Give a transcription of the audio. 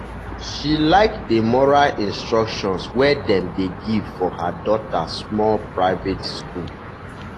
she like the moral instruction wey dem dey give for her daughter small private school.